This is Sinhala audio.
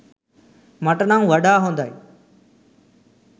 මට නම් වඩා හොඳයි.